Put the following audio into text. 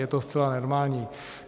Je to zcela normální.